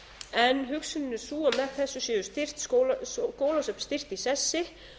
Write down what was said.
en hugsunin er sú að með þessu séu skólasöfn styrkt í sessi